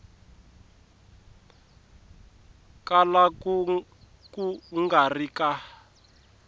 kala ku nga ri ka